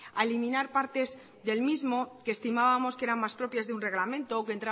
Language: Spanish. a eliminar partes del mismo que estimábamos que eran más propias de un reglamento o que